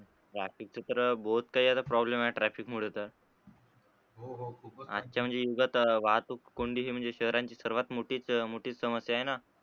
traffic च तर बहोत काही problem आहे traffic मुळे तर आजच्या म्हणजे युगात वाहतूक कोंडी हे म्हणजे शहरांची सर्वात मोठीच, मोठीच समस्या आहे न?